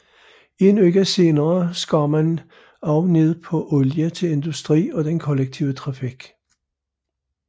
En uge senere skar man også ned på olie til industri og den kollektive trafik